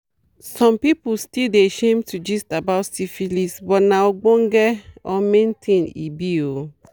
some people still dey shame to gist about syphilis but na ogbonge or main things e be oo